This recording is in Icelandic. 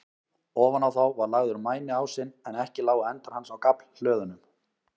Ofan á þá var lagður mæniásinn, en ekki lágu endar hans á gaflhlöðunum.